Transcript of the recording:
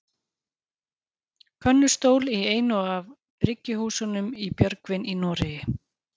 könnustól í einu af bryggjuhúsunum í björgvin í noregi